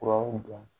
Furaw dɔn